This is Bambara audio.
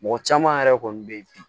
Mɔgɔ caman yɛrɛ kɔni bɛ ye bi